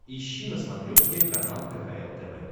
ищи на смотрешке канал кхл тв